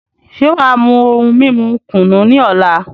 Ṣe wàá mú ohun mímu kùnú ní ọ̀la?